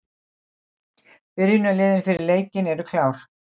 Byrjunarliðin fyrir leikinn eru klár.